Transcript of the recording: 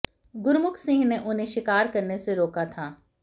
गुरमुख सिंह ने उन्हें शिकार करने से रोका था